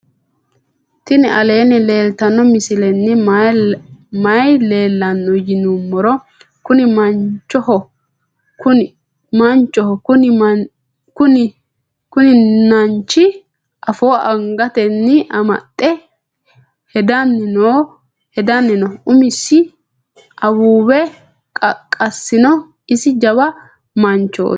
tini aleni leltano misileni maayi leelano yinnumoro. kuuni manchoho kuuni nanchi afo angateni amaxe heedani noo. umosi awuwe qaqasino isi jawa manchoti.